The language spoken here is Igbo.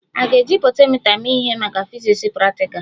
A ga-eji potentiomita mee ihe maka fiziks praktikal?